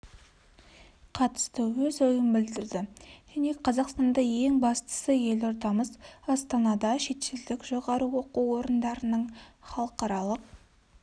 қатысты өз ойын білдірді және қазақстанда ең бастысы елордамыз астанада шетелдік жоғары оқу орындарының халықаралық